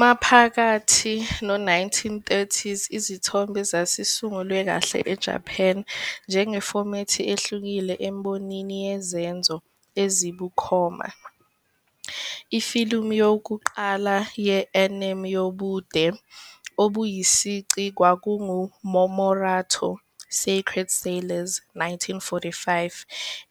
Maphakathi no-1930s izithombe zazisungulwe kahle eJapan njengefomethi ehlukile embonini yezenzo ezibukhoma. Ifilimu yokuqala ye-anime yobude "obuyisici kwakunguMomotaro- Sacred Sailors", 1945,